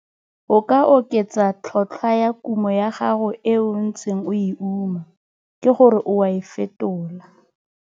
O ka oketsa tlhotlhwa ya kumo ya gago e o ntseng o e uma, ke go re o a e fetola.